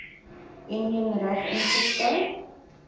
enjin reg ingestel